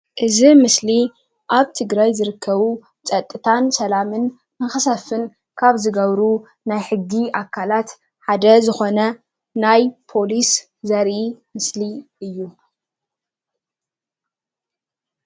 እዚ ምስሊ ኣብ ትግራይ ዝርከቡ ፀጥታን ሰላም ንክሰፍን ካብ ዝገብሩ ናይ ሕጊ ኣካላት ሓደ ዝኮነ ናይ ፖለስ ዘርኢ ምስሊ እዩ፡፡